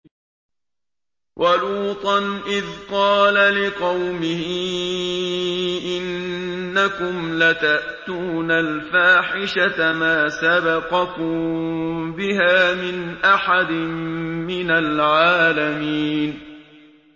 وَلُوطًا إِذْ قَالَ لِقَوْمِهِ إِنَّكُمْ لَتَأْتُونَ الْفَاحِشَةَ مَا سَبَقَكُم بِهَا مِنْ أَحَدٍ مِّنَ الْعَالَمِينَ